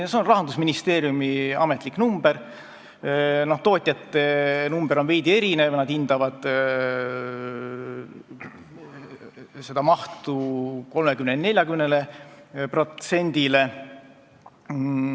See on Rahandusministeeriumi ametlik number, tootjate number on veidi erinev, nad hindavad seda mahtu 30–40%-le.